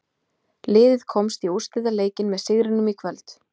Liðið komst í úrslitaleikinn með sigrinum í kvöld.